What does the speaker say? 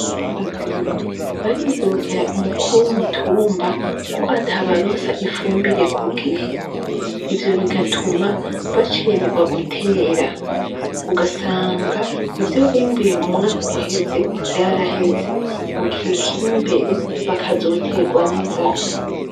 Abarimyi baridogera umukuru w'umutumba ko atabaronsa ifumbire ku gihe ivyo bigatuma bacererwa gutera ugasanga ivyo bimbuye mu mwaka uheze vyaraheze mu gihe kiri imbere bakazoterwa n'inzara.